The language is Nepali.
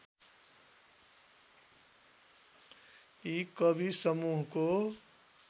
यी कवि समूहको